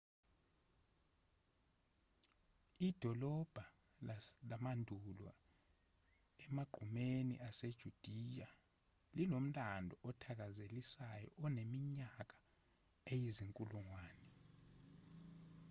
idolobha lamandulo emagqumeni asejudiya linomlando othakazelisayo oneminyaka eyizinkulungwane